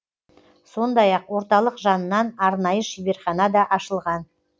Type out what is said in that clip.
сондай ақ орталық жанынан арнайы шеберхана да ашылған